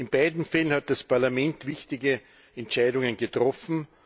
In beiden Fällen hat das Parlament wichtige Entscheidungen getroffen.